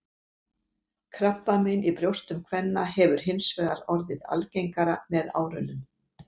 Krabbamein í brjóstum kvenna hefur hins vegar orðið algengara með árunum.